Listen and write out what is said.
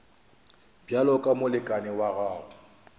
bjalo ka molekane wa gago